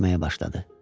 Üşüməyə başladı.